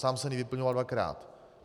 Sám jsem ji vyplňoval dvakrát.